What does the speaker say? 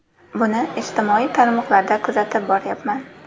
Buni ijtimoiy tarmoqlarda kuzatib boryapman.